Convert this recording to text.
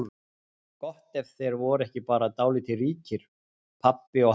Gott ef þeir voru ekki bara dálítið líkir, pabbi og hann.